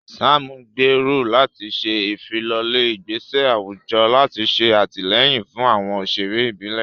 Sam gbèrò láti ṣe ìfilọ́lẹ̀ ìgbésẹ̀ àwùjọ láti ṣe àtìlẹ́yìn fún àwọn òṣèré ìbílẹ̀.